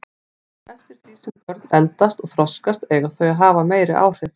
Eftir því sem börn eldast og þroskast eiga þau að hafa meiri áhrif.